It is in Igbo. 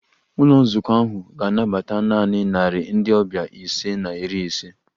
Ụlọ nzukọ ahụ ga-anabata naanị narị ndị ọbịa ise na iri ise